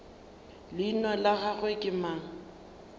leina la gagwe ke mang